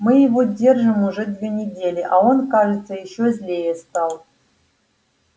мы его держим уже две недели а он кажется ещё злее стал